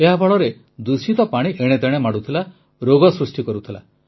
ଏହା ଫଳରେ ଦୂଷିତ ପାଣି ଏଣେ ତେଣେ ମାଡ଼ୁଥିଲା ରୋଗ ସୃଷ୍ଟି କରୁଥିଲା